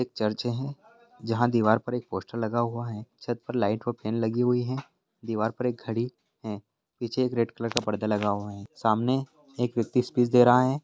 Church है जहाँ पर दीवार पर एक पोस्टर लगा हुआ है छत पर लाइट और फेन लगी हुई है दीवार पर एक घड़ी है पीछे एक रेड कलर का पर्दा लगा हुआ है सामने एक व्यक्ति स्पीच दे रहा है।